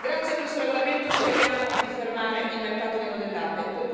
Grazie a questo regolamento speriamo di fermare il mercato nero dell'arte.